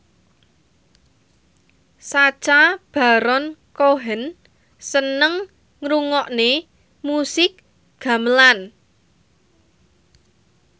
Sacha Baron Cohen seneng ngrungokne musik gamelan